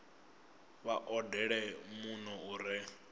vha odele muno u re